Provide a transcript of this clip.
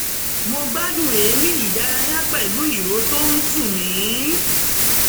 mo gbádùn èémí ìdárayá pẹ̀lú ìró tó ń tu mi